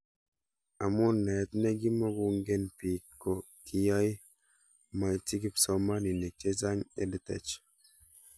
Amu naet ne kimukong'en pik ko kiyae maitchi kipsomanik chechang' EdTech